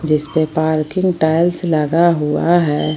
जिस पे parking tiles लगा हुआ है ।